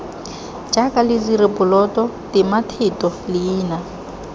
jaaka lediri poloto tematheto leina